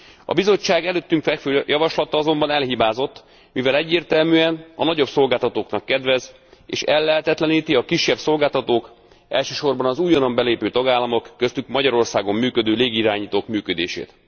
A Bizottság előttünk fekvő javaslata azonban elhibázott, mivel egyértelműen a nagyobb szolgáltatóknak kedvez, és ellehetetleníti a kisebb szolgáltatók, elsősorban az újonnan belépő tagállamok, köztük Magyarországon működő légiirányítók működését.